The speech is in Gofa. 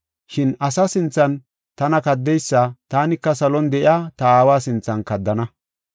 Shin asa sinthan tana kaddeysa taanika salon de7iya ta aawa sinthan kaddana.